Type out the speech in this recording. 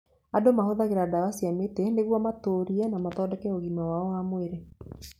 Andũ mahũthagĩra ndawa cia mĩtĩ nĩguo matũrie na mathondeke ũgima wao wa mwĩrĩ.